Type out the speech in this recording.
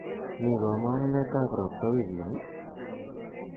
mii komong'unetab robta wigini ii